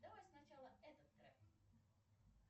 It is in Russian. давай сначала этот трек